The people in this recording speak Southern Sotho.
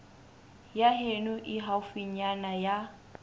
ya heno e haufinyana ya